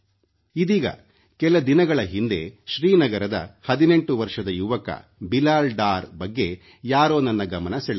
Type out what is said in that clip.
ಇದೀಗ ಕೆಲ ದಿನಗಳ ಹಿಂದೆ ಶ್ರೀನಗರದ 18 ವರ್ಷದ ಯುವಕ ಬಿಲಾಲ್ ಡಾರ್ ಬಗ್ಗೆ ಯಾರೋ ನನ್ನ ಗಮನ ಸೆಳೆದರು